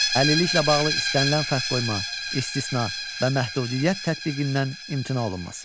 Əlilliklə bağlı istənilən fərq qoyma, istisna və məhdudiyyət tətbiqindən imtina olunması.